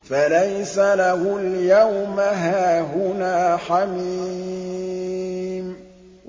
فَلَيْسَ لَهُ الْيَوْمَ هَاهُنَا حَمِيمٌ